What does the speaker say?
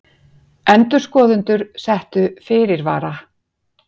Endurskoðendur settu fyrirvara